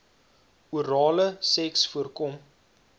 orale seks voorkom